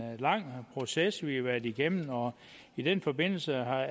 en lang proces vi har været igennem og i den forbindelse er